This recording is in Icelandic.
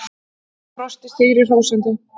Brosti sigri hrósandi.